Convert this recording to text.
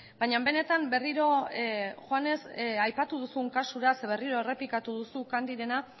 baina benetan berriro joanez aipatu duzun kasura berriro errepikatu duzu candyrena